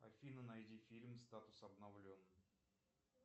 афина найди фильм статус обновлен